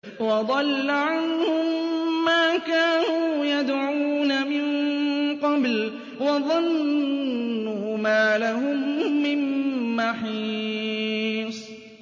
وَضَلَّ عَنْهُم مَّا كَانُوا يَدْعُونَ مِن قَبْلُ ۖ وَظَنُّوا مَا لَهُم مِّن مَّحِيصٍ